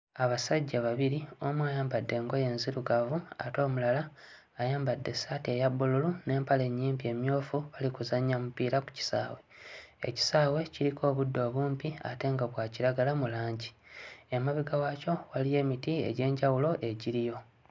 Abasajja babiri omu ayambadde engoye enzirugavu ate omulala ayambadde essaati eya bbululu n'empale ennyimpi emmyufu bali kuzannya mupiira ku kisaawe, ekisaawe kiriko obuddo obumpi ate nga bwa kiragala mu langi, emabega waakyo waliyo emiti egy'enjawulo egiriyo.